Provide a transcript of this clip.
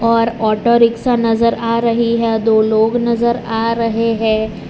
पर auto rickshaw नजर आ रही है दो लोग नजर आ रहे है।